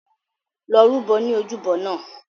Lọ rúbọ ní ojúbọ náà!